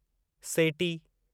सेटी